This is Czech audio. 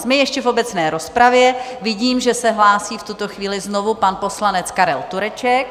Jsme ještě v obecné rozpravě, vidím, že se hlásí v tuto chvíli znovu pan poslanec Karel Tureček.